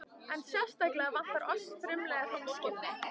En sérstaklega vantar oss frumlega hreinskilni.